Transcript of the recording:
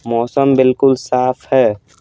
मौसम बिल्कुल साफ है।